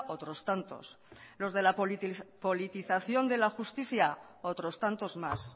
otros tantos los de la politización de la justicia otros tantos más